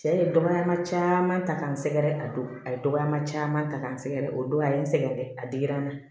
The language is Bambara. Cɛ ye danayama caman ta k'an sɛgɛn a don a ye dɔgɔyama caman ta k'an sɛgɛn dɛ o don a ye n sɛgɛn a digira n na